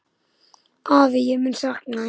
Afi, ég mun sakna þín.